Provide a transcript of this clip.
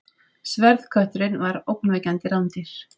Sverðkötturinn var ógnvekjandi rándýr.